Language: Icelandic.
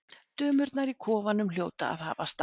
Dömurnar í kofanum hljóta að hafa staðið með